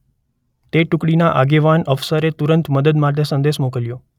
તે ટુકડીના આગેવાન અફસરે તુરંત મદદ માટે સંદેસ મોકલ્યો.